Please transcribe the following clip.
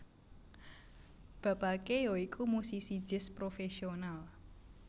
Bapake ya iku musisi jazz profesional